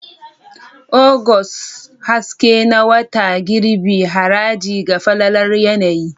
Agusta, haske na wata girbi, haraji ga falalar yanayi.